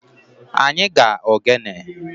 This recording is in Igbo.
Anyi ga-ogene.